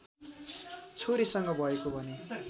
छोरीसँग भएको भन्ने